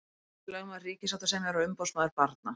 Ríkislögmaður, ríkissáttasemjari og umboðsmaður barna.